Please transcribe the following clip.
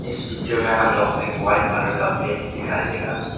इस पिक्चर में हम लोग को एक वाइट कलर का प्लेट दिखाई देगा।